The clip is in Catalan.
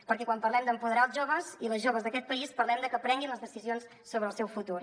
perquè quan parlem d’empoderar els joves i les joves d’aquest país parlem de que prenguin les decisions sobre el seu futur